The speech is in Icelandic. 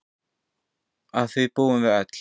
Að því búum við öll.